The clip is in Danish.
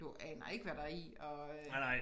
Du aner ikke hvad der er i og øh